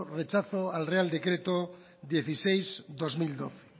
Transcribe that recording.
rechazo al real decreto dieciséis barra dos mil doce